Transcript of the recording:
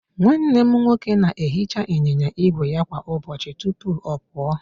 Nwanne m nwoke na-ehicha ịnyịnya ígwè ya kwa ụbọchị tupu ọ pụọ